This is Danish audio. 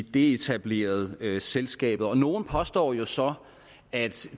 deetablerede selskabet og nogle påstår jo så at